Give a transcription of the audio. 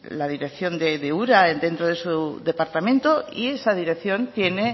la dirección de ura dentro de su departamento y esa dirección tiene